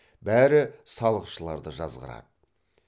бәрі салықшыларды жазғырады